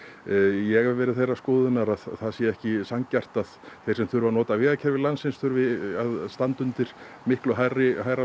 ég hef verið þeirrar skoðunar að það sé ekki sanngjarnt að þeir sem þurfi að nota vegakerfi landsins þurfi að standa undir miklu hærri hærri